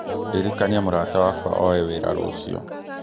ririkania mũrata wakwa oye wĩra rũciũ.